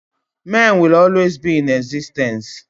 men will always be in existence